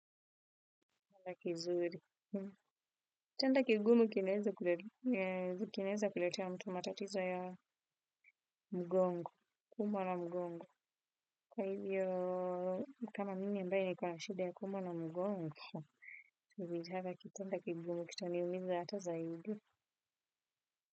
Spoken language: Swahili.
Tanda kizuri. Tanda kigumu kinaweza kuletea mtu matatizo ya mgongo, kuma na mgongo. Kwa hivyo, kama mimi ambaye niko na shida ya kuumwa na mgongo. Tanda kigumu kitaniumiza hata zaidi.